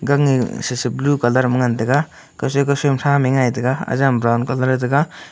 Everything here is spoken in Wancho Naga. ange sasa blue colour ma ngan tega kathre kathre thram e ngai taiga ajam brown colour e tega.